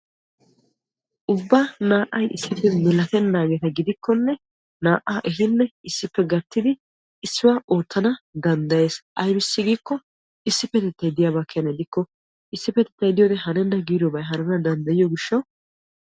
ubba naa"ay issippe milatennaageeta gidikkonne naa"aa ehinne issippe gattidi issuwa oottana danddayes. ayibissi giikko issippetettay diyaaba keena dikko issippetettay diyode hanenna giidobay hanana danddayiyo gishshawu.